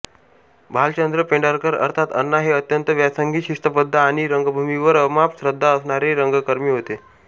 भालचंद्र पेंढारकर अर्थात अण्णा हे अत्यंत व्यासंगी शिस्तबद्ध आणि रंगभूमीवर अमाप श्रद्धा असणारे रंगकर्मी होते